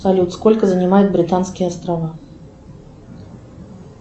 салют сколько занимают британские острова